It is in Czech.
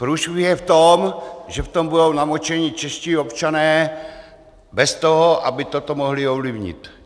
Průšvih je v tom, že v tom budou namočení čeští občané bez toho, aby toto mohli ovlivnit.